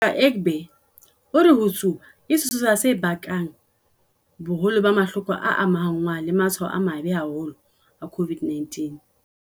Ngaka Egbe o re ho tsuba ke sesosa se bakang boholo ba mahloko a amahanngwang le matshwao a mabe haholo a COVID-19.